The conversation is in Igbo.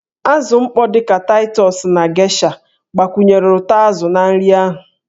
Azụ mkpọ dị ka Taịtọs na geisha gbakwunyere ụtọ azụ na nri ahụ.